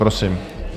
Prosím.